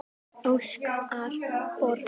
Óskar Borg.